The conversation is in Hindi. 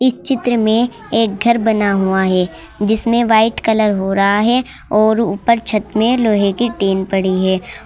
इस चित्र में एक घर बना हुआ है जिसमें व्हाइट कलर हो रहा है और ऊपर छत में लोहे की टिन पड़ी है।